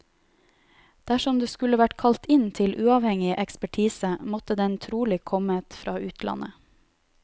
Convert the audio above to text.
Dersom det skulle vært kalt inn uavhengig ekspertise, måtte den trolig kommet fra utlandet.